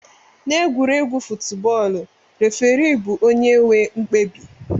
Na egwuregwu futbọl refirii bu onye nwe mkpebi.